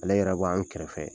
Ale yɛrɛ bɔ an kɛrɛfɛ